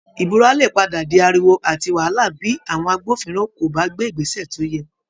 Ìbúra lè padà di ariwo àti wàhálà bí àwọn agbófinró kò bá gbé Ìgbésẹ̀ tó yẹ